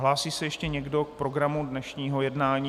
Hlásí se ještě někdo k programu dnešního jednání?